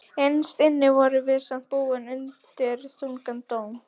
Innst inni vorum við samt búin undir þungan dóm.